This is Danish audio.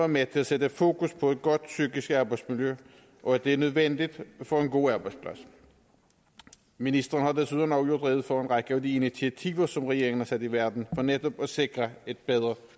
med til at sætte fokus på et godt psykisk arbejdsmiljø og at det er nødvendigt for en god arbejdsplads ministeren har desuden også gjort rede for en række af de initiativer som regeringen har sat i verden for netop at sikre et bedre